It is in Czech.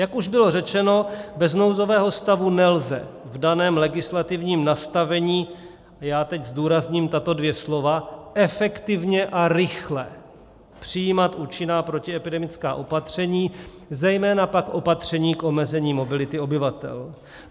Jak už bylo řečeno, bez nouzového stavu nelze v daném legislativním nastavení - já teď zdůrazním tato dvě slova - efektivně a rychle přijímat účinná protiepidemická opatření, zejména pak opatření k omezení mobility obyvatel.